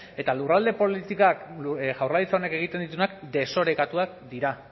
eta lurralde politikak jaurlaritza honek egiten dituenak desorekatuak dira